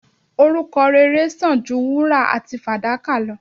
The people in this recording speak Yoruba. Orúkọ rere sàn ju wúrà àti fàdákà lọ.